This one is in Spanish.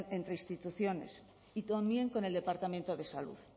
entre instituciones y también con el departamento de salud